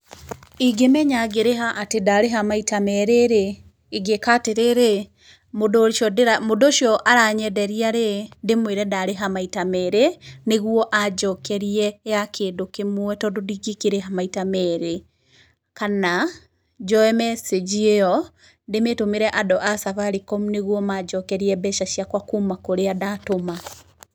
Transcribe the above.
Ingĩmenya ngĩrĩha atĩ ndarĩha maita merĩ-rĩ, ingĩka atĩrĩrĩ, mũndũ ũcio aranyenderia-rĩ, ndĩ mwĩre ndarĩha maita merĩ nĩ guo anjokerie ya kĩndũ kĩmwe tondũ ndĩkĩkĩrĩha maita merĩ, kana njoe mecinji ĩo ndĩmĩtũmĩre andũ a Safaricom nĩguo manjokerie mbeca ciakwa kuma kũrĩa ndatũma.